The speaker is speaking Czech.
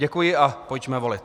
Děkuji a pojďme volit.